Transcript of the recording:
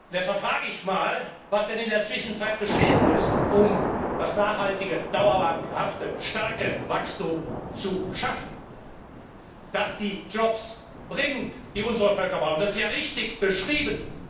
Deshalb frage ich einmal, was denn in der Zwischenzeit geschehen ist, um das nachhaltige, dauerhafte, starke Wachstum zu schaffen, das die Jobs bringt, die unsere Völker brauchen. Das ist ja richtig beschrieben.